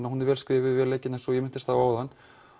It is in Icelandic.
og hún er vil skrifuð og vel leikin eins og ég minntist á áðan